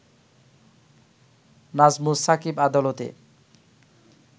নাজমুস সাকিব আদালতে